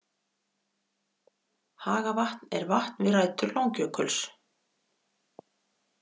Hagavatn er vatn við rætur Langjökuls.